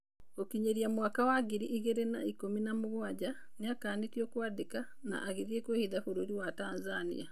Gũkinyĩria mwaka wa ngirĩ igĩrĩ na ikũmi na mũgwanja nĩakanĩtio kwandĩka na agĩthĩĩ kwĩhitha bũrũrĩ wa Tanzania.